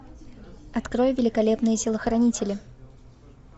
открой великолепные телохранители